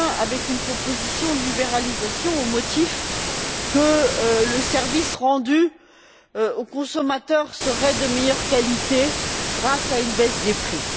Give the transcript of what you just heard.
avec une proposition de libéralisation, au motif que le service rendu au consommateur serait de meilleure qualité grâce à une baisse des prix.